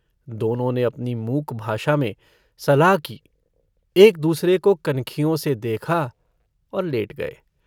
दोनों ने अपनी मूक भाषा में सलाह की एकदूसरे को कनखियों से देखा और लेट गये।